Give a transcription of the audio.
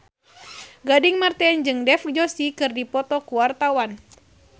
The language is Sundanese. Gading Marten jeung Dev Joshi keur dipoto ku wartawan